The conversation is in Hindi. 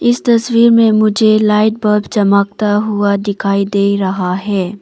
इस तस्वीर में मुझे लाइट बल्ब चमकता हुआ दिखाई दे रहा है।